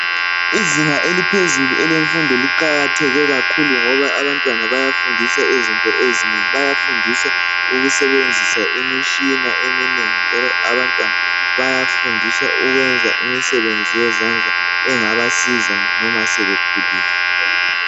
Izinga eliphezulu elomfundo liqakathekile kakhulu ngoba abantwana bayafundiswa izinto ezinengi bayafundiswa ukusebenzisa imitshina eminengi njalo abantwana bayafundiswa ukwenza imisebenzi yezandla engabasiza noma sebekhulile.